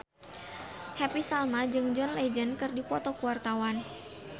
Happy Salma jeung John Legend keur dipoto ku wartawan